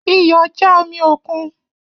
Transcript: Iyọ ja omi okun